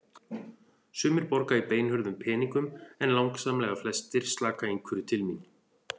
Sumir borga í beinhörðum peningum en langsamlega flestir slaka einhverju til mín.